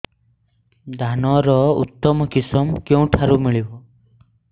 ଧାନର ଉତ୍ତମ କିଶମ କେଉଁଠାରୁ ମିଳିବ